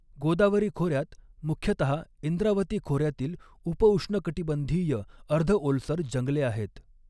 गोदावरी खोऱ्यात मुख्यतहा इंद्रावती खोऱ्यातील उप उष्णकटिबंधीय, अर्ध ओलसर जंगले आहेत.